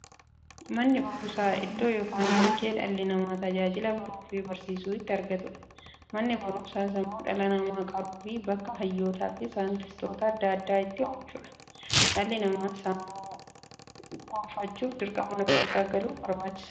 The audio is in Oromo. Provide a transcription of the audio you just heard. Manni baruumsaa iddoo yookiin bakkee dhalli namaa tajaajila baruufi barsiisuu itti argatuudha. Manni baruumsaa sammuu dhala namaa qaruufi bakka hayyootafi saayintistoota adda addaa itti oomishuudha. Dhalli namaa sammuun gufachuuf, dirqama Mana baruumsaa galuu qaba.